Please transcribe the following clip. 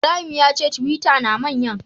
Ibrahim yace twitter na manyan.